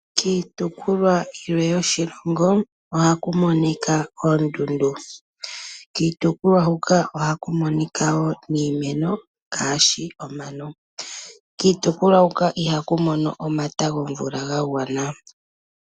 Kiitukulwa yilwe yoshilongo oha ku monika oondundu. Kiitukulwa huka oha ku monika woo niimeno ngaashi omano. Kiitukulwa huka iha ku mono omata gomvula ga gwana.